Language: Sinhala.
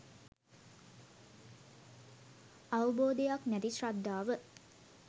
අවබෝධයක් නැති ශ්‍රද්ධාව